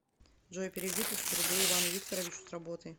джой переведи тысячу рублей ивану викторовичу с работы